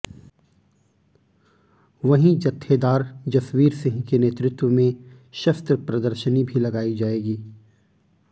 वहीं जत्थेदार जसवीर सिंह के नेतृत्व में शस्त्र प्रदर्शनी भी लगाई जाएगी